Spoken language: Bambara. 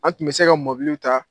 An tun bɛ se ka ta.